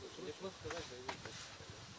Nəsə desəniz, yazın.